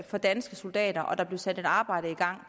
for danske soldater og at der blev sat et arbejde i gang